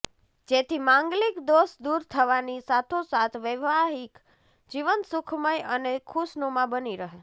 જેથી માંગલિક દોષ દૂર થવાની સાથોસાથ વૈવાહિક જીવન સુખમય અને ખુશનુમા બની રહે